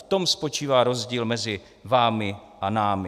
V tom spočívá rozdíl mezi vámi a námi.